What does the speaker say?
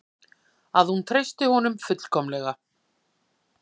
Að hún treystir honum fullkomlega.